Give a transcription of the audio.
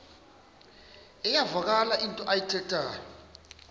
iyavakala into ayithethayo